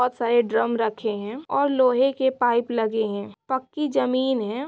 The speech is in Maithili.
बहोत सारे ड्रम रखे है और लोहे के पाइप लगे है पक्की जमीन है।